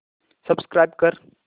subscribe कर